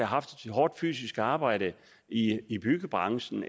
haft et hårdt fysisk arbejde i byggebranchen